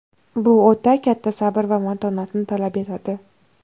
Bu o‘ta katta sabr va matonatni talab etadi.